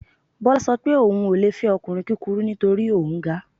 Bọ́lá sọ pé òun ò le fẹ́ ọkùnrin kúkurú nítorí òun ga